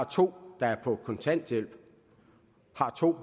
to der er på kontanthjælp og har to